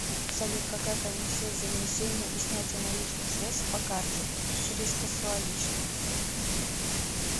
салют какая комиссия за внесение и снятие наличных средств по карте и через кассуаличных